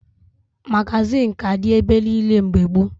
Magazịn ka dị ebe niile mgbe gboo